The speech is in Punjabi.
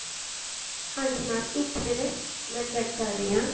ਹਾਂਜੀ mam ਇੱਕ minute ਮੈਂ check ਕਰ ਰਹੀ ਆ